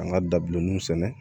An ka dabilenninw sɛnɛ